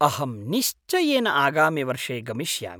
अहं निश्चयेन आगामिवर्षे गमिष्यामि।